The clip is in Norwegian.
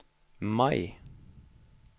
Mai